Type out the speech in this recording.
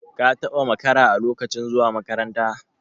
ka taba makara a lokacin zuwa makaranta?